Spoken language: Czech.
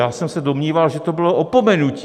Já jsem se domníval, že to bylo opomenutí.